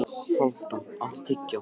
Hálfdan, áttu tyggjó?